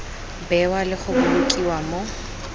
bewa le go bolokiwa mo